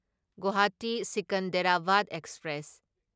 Guwahati Secunderabad express